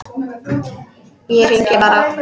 Ég hringi bara.